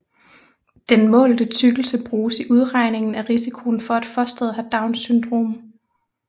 Den målte tykkelse bruges i udregningen af risikoen for at fosteret har Downs syndrom